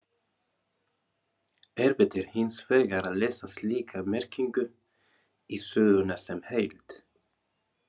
Erfitt er hins vegar að lesa slíka merkingu í söguna sem heild.